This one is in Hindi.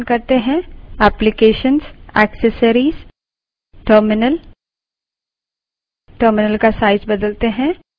चलिए एक और terminal open करते हैं application> accessories> terminal